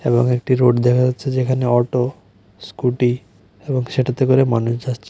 এবং একটি রোড দেখা যাচ্ছে যেখানে অটো স্কুটি এবং সেটাতে করে মানুষ যাচ্ছে।